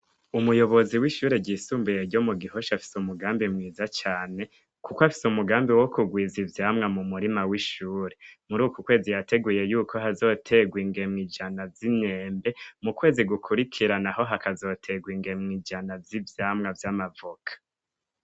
Umuyobozi w'ishure ryisumbuye ryo mugihosha afise umugambi mwiza cane kuko afise umugambi wo kugwiza ivyamwa mumurima w'ishure muruku kwezi yateguye yuko hazotegwa ingemwe ijana z' umyembe mukwezi gukurikira naho hakazotegwa ingemwe ijana vy ivyamwa vy 'amavoka.